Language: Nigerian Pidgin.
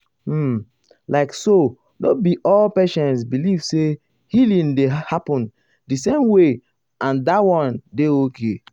um like so no be all patients believe say healing dey happen the same way and dat one dey okay.